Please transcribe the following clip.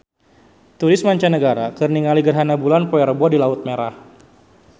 Turis mancanagara keur ningali gerhana bulan poe Rebo di Laut Merah